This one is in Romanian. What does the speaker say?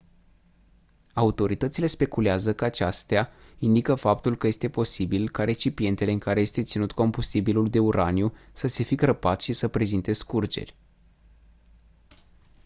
autoritățile speculează că aceasta indică faptul că este posibil ca recipientele în care este ținut combustibilul de uraniu să se fi crăpat și să prezinte scurgeri